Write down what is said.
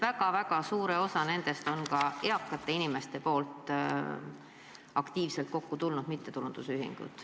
Väga suur osa nendest on aktiivsete eakate inimeste loodud mittetulundusühingud.